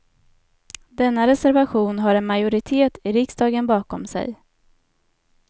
Denna reservation har en majoritet i riksdagen bakom sig.